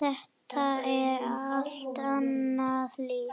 Þetta er allt annað líf.